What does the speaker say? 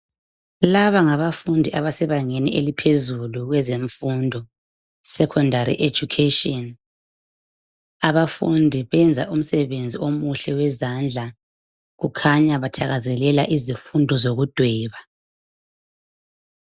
Laba ngabafundi abasebangeni eliphezulu kwezemfundo, sekhondari ejukheshini. Abafundi benza umsebenzi omuhle wezandla, kukhanya bathakazelela izifundo zokudweba.